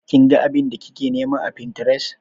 Kin ga abin da kike nima a Pinterest?